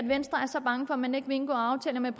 venstre er så bange for at man ikke vil indgå aftaler med